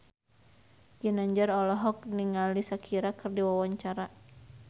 Ginanjar olohok ningali Shakira keur diwawancara